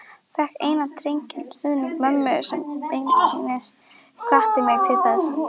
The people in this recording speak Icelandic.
Fékk eindreginn stuðning mömmu sem beinlínis hvatti mig til þess.